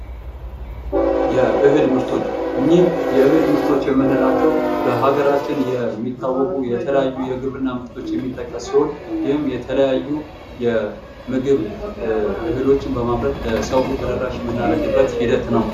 የእህል ምርቶች እኝህ የእህል ምርቶች የምንላቸው በሀገራችን የሚታወቁ የተለያዩ የተለያዩ የግብርና ምርቶች የሚጠቀሱ ሲሆን ይህም የተለያዩ የምግብ እህሎችን በማምረት ለሰው ተደራሽ የምናደርግበት ሂደት ነው።